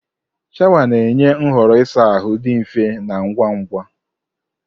Shawa na-enye nhọrọ ịsa ahụ dị mfe na ngwa ngwa.